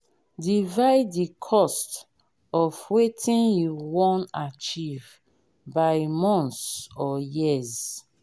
divide the cost of wetin you won achieve by months or years